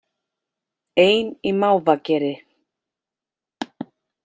Ein í mávageri